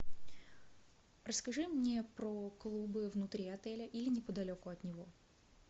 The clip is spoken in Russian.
расскажи мне про клубы внутри отеля или неподалеку от него